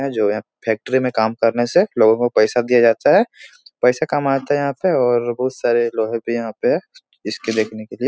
जो है फैक्ट्री में काम करने से लोगो को पैसा दिया जाता है । पैसा कमाते है यहाँ पे और बहुत सारे लोहे भी यहाँ पे इसके देखने के लिए ।